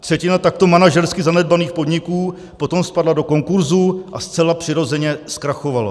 Třetina takto manažersky zanedbaných podniků potom spadla do konkurzu a zcela přirozeně zkrachovala.